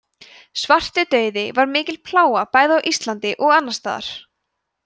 svartidauði var mikil plága bæði á íslandi og annars staðar